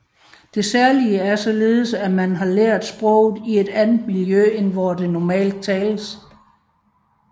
Det særlige er således at man har lært sproget i et andet miljø end hvor det normalt tales